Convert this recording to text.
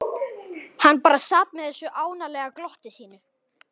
Hann bara sat með þessu ánalega glotti sínu.